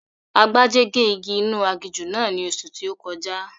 Agbájé gé igi inú aginjù náà ní oṣù tí ó kọjá